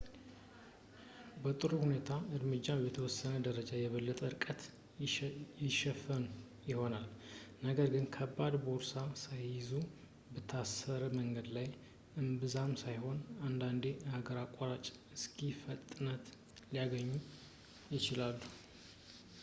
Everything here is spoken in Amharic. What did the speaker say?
በጥሩ ሁኔታዎች ከእርምጃ በተወሰነ ደረጃ የበለጠ ርቀት ይሸፍኑ ይሆናል ነገር ግን ከባድ ቦርሳ ሳይዙ በ ታረሰ መንገድ ላይ እምብዛም ሳይሆን አንዳንዴ የሀገር አቋራጭ ስኪ ፍጥነት ሊያገኙ ይችላሉ